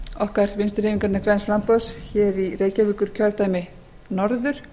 okkar vinstri hreyfingarinnar græns framboðs í reykjavíkurkjördæmi norður